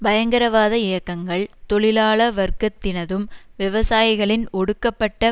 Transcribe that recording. பயங்கரவாத இயக்கங்கள் தொழிலாள வர்க்கத்தினதும் விவசாயிகளின் ஒடுக்கப்பட்ட